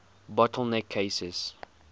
bottle neck cases